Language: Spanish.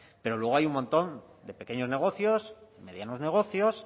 pero luego hay un montón de pequeños negocios medianos negocios